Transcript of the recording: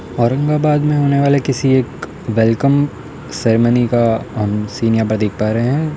औरंगाबाद में होने वाले किसी एक वेलकम सेरेमनी का अम सीन यहाँ पर देख पा रहे हैं।